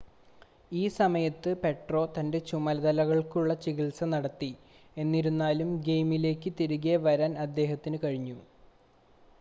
ഈ സമയത്ത് പോട്രോ തൻ്റെ ചുമലുകൾക്കുള്ള ചികിത്സ നടത്തി എന്നിരുന്നാലും ഗെയിമിലേക്ക് തിരികെ വരാൻ അദ്ദേഹത്തിന് കഴിഞ്ഞു